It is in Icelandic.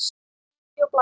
Bíbí og blaka.